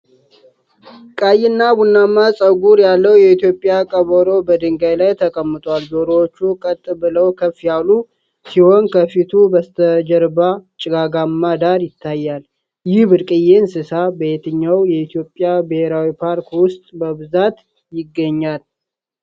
ቀይ ቡናማ ጸጉር ያለው የኢትዮጵያ ቀበሮ በድንጋይ ላይ ተቀምጧል። ጆሮዎቹ ቀጥ ብለው ከፍ ያሉ ሲሆን፣ ከፊቱ በስተጀርባ ጭጋጋማ ዳራ ይታያል። ይህ ብርቅዬ እንስሳ በየትኛው የኢትዮጵያ ብሔራዊ ፓርክ ውስጥ በብዛት ይገኛል?